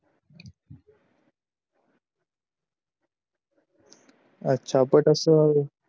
अच्छा but असं